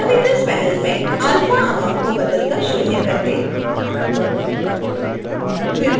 parameters panel में alpha amount को बदल कर शून्य कर दें